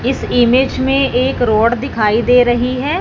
इस इमेज में एक रोड दिखाई दे रही है।